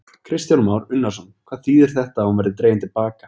Kristján Már Unnarsson: Þýðir þetta að hún verði dregin til baka?